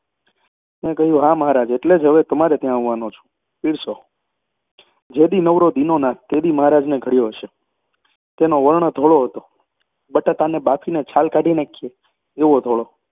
મેં કહ્યું હા મહારાજ, એટલે જ હવે તમારે ત્યાં આવવાનો છું. પીરસો જે દી નવરો દીનોનાથ તે દી મહારાજને ઘડ્યો હશે. તેનો વર્ણ ધોળો હતો, બટાટાને બાફીને છાલ કાઢી નાંખીએ એવો ધોળો